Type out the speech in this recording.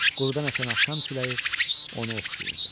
Qurudan əsən axşam küləyi onu oxşayırdı.